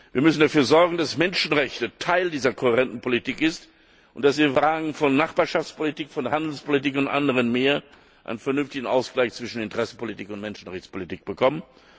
Wir müssen dafür sorgen, dass Menschenrechte Teil dieser kohärenten Politik sind und dass wir in Fragen von Nachbarschaftspolitik, von Handelspolitik und anderen mehr einen vernünftigen Ausgleich zwischen Interessenpolitik und Menschenrechtspolitik bekommen.